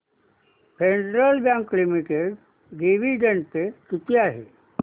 federal Bank Limited dividend pay किती आहे